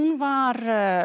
var